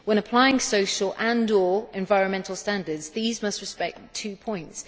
When applying social and or environmental standards, these must respect two points.